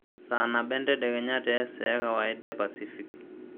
saa nabo entadekenya tee saa ekawaida epasifik